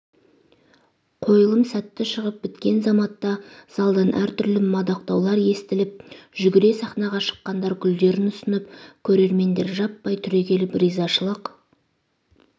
қойылым сәтті шығып біткен заматта залдан әртүрлі мадақтаулар естіліп жүгіре сахнаға шыққандар гүлдерін ұсынып көрермендер жаппай түрегеліп ризашылық